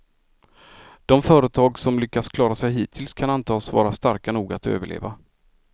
De företag som lyckats klara sig hittills kan antas vara starka nog att överleva.